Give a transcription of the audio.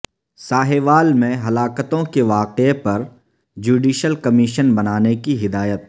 ساہیوال میں ہلاکتوں کے واقعے پر جوڈیشل کمیشن بنانے کی ہدایت